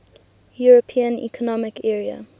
european economic area